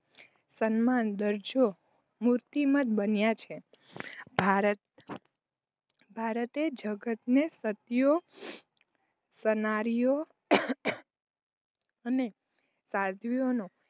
સન્માન દરજ્જો મૂર્તિમંત બન્યા છે. ભારત ભારતે જગતને સતીઓ સન્નારીઓ અને સાધ્વીઓનો